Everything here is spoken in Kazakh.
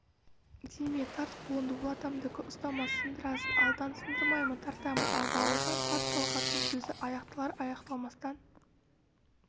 тиме тарт қолыңды ол атамдікі ұстама сындырасың алдан сындырмаймын тартамын ал бауыржан тарт талғаттың сөзі аяқталар-аяқталмастан